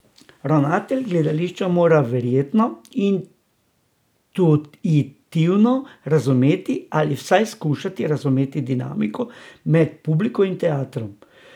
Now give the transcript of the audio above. Ravnatelj gledališča mora verjetno intuitivno razumeti, ali pa vsaj skušati razumeti, dinamiko med publiko in teatrom.